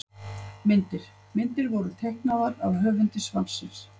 Myndir: Myndir voru teiknaðar af höfundi svarsins.